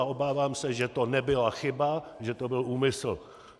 A obávám se, že to nebyla chyba, že to byl úmysl.